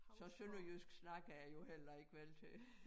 Så sønderjysk snakker jeg jo heller ikke vel til